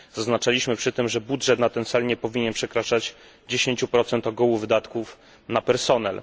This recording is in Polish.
Zaznaczaliśmy przy tym, że budżet na ten cel nie powinien przekraczać 10 ogółu wydatków na personel.